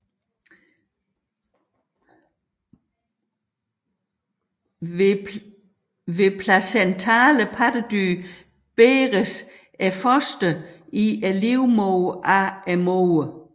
Hos placentale pattedyr bæres fosteret i livmoderen af moren